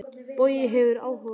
Bogi hefur áhuga á tónlist.